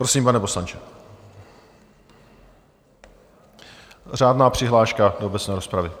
Prosím, pane poslanče, řádná přihláška do obecné rozpravy.